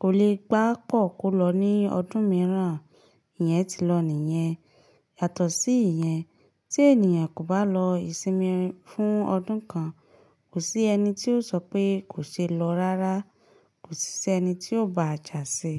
kò lè papọ kọ̀ lọ ní ọdún mìíràn. Ìyẹn ti lọ nìyẹn. Yàtọ̀ sí ìyẹn, tí ènìyàn kò bá lọ ìsinmi fún ọdún kan, kò sí ẹni tí yóò sọ pé kò ṣe lọ rárá, kò sí sí ẹni tí yóò ba jà sí e.